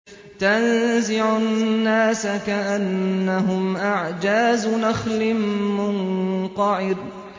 تَنزِعُ النَّاسَ كَأَنَّهُمْ أَعْجَازُ نَخْلٍ مُّنقَعِرٍ